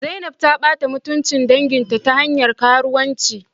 Zainab ta bata mutuncin dangi ta hanyar karuwanci